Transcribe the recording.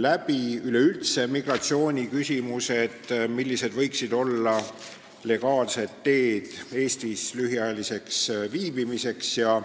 lapsehoidjate ja üldse migratsiooni küsimusi, näiteks seda, millised on legaalsed võimalused Eestis lühikest aega viibida.